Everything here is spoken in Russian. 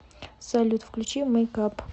салют включи мейкап